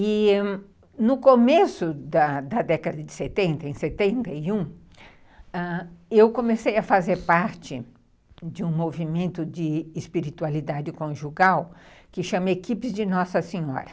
E no começo da década de setenta, em setenta e um, eu comecei a fazer parte de um movimento de espiritualidade conjugal que chama Equipes de Nossa Senhora.